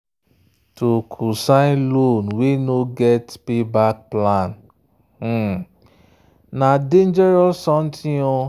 to cosign loan wey no get payback plan na dangerous something.